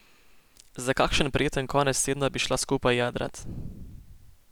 Za kakšen prijeten konec tedna bi šla skupaj jadrat.